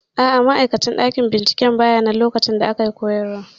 A'a, ma'aikacin ɗakin binciken bayanan lokacin da ake koyarwa